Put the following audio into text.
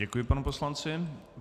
Děkuji panu poslanci.